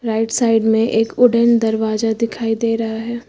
Right side में एक wooden दरवाजा दिखाई दे रहा है।